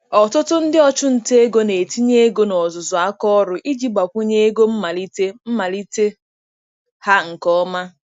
Ọtụtụ ndị ọchụnta ego na-etinye ego na ọzụzụ aka ọrụ iji gbakwunye ego mmalite mmalite ha nke ọma.